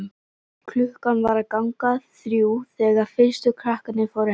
Klukkan var að ganga þrjú þegar fyrstu krakkarnir fóru heim.